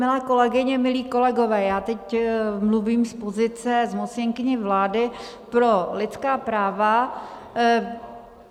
Milé kolegyně, milí kolegové, já teď mluvím z pozice zmocněnkyně vlády pro lidská práva.